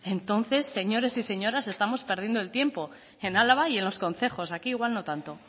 entonces señores y señoras estamos perdiendo el tiempo en álava y en los concejos aquí igual no tanto